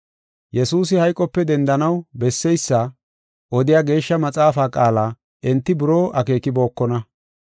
Yesuusi hayqope dendanaw besseysa odiya Geeshsha maxaafaa qaala enti buroo akeekibokona.